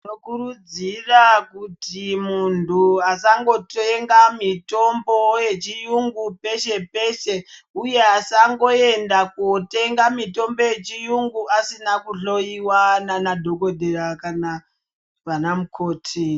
Tinokurudzira kuti muntu asangotenga mitombo yechiungu peshe peshe uye asangoenda kunotenga mitombo yechiungu asina kuhloiwa nana dhokodheya kana vanamukoti.